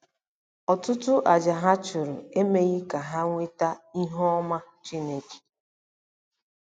Ọtụtụ àjà ha chụrụ emeghị ka ha nweta ihu ọma Chineke.